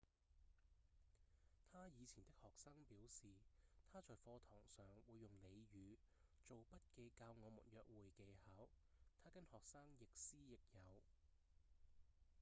他以前的學生表示：「他在課堂上會用俚語做筆記教我們約會技巧他跟學生亦師亦友」